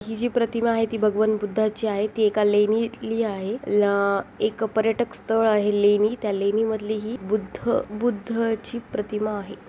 ही जी प्रतिमा आहे भगवान बुद्धाची आहे ती एका लेणीतली आहे ल एक पर्यटक स्थळ आहे लेणी त्या लेणी मधली ही बुद्ध बुद्ध ची प्रतिमा आहे.